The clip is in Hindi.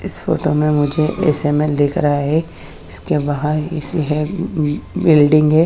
इस फोटो में मुझे एसे मेल दिख रहा है जिसके बाहर ही सही बिल बिल्डिंग है ।